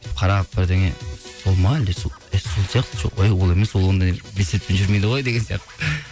қарап бірдеңе ол ма сол сияқты жоқ ол емес ол онда велосипедпен жүрмейді ғой деген сияқты